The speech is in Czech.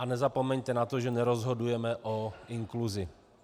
A nezapomeňte na to, že nerozhodujeme o inkluzi.